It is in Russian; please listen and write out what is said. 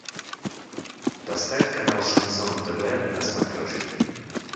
поставь канал шансон тв на смотрешке